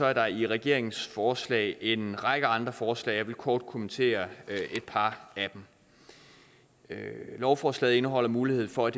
er der i regeringens forslag en række andre forslag og jeg vil kort kommentere et par af dem lovforslaget indeholder muligheden for at